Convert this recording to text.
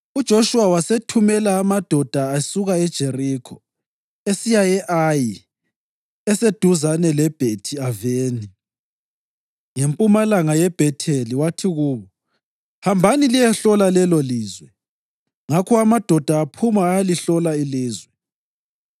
UJoshuwa wasethumela amadoda esuka eJerikho esiya e-Ayi eseduzane leBhethi-Aveni ngempumalanga yeBhetheli wathi kubo: “Hambani liyehlola lelolizwe.” Ngakho amadoda aphuma ayalihlola ilizwe.